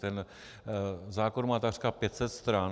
Ten zákon má takřka 500 stran.